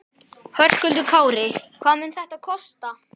Höskuldur Kári: Hvað mun þetta kosta?